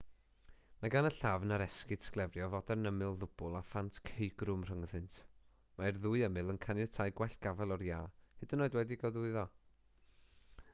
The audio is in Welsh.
mae gan y llafn ar esgid sglefrio fodern ymyl ddwbl a phant ceugrwm rhyngddynt mae'r ddwy ymyl yn caniatáu gwell gafael o'r iâ hyd yn oed wedi'u gogwyddo